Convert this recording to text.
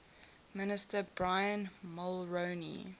minister brian mulroney